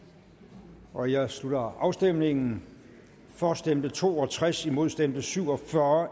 går jeg slutter afstemningen for stemte to og tres imod stemte syv og fyrre